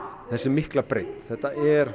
þessi mikla breidd þetta er